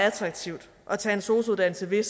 attraktivt at tage en sosu uddannelse ved at